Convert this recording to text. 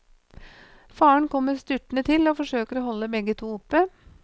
Faren kommer styrtende til og forsøker å holde begge to oppe.